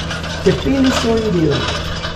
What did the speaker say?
Trpeli so in delali.